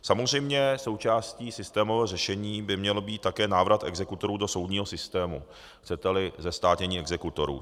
Samozřejmě součástí systémového řešení by měl být také návrat exekutorů do soudního systému, chcete-li zestátnění exekutorů.